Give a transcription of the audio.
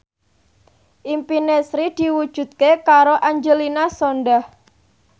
impine Sri diwujudke karo Angelina Sondakh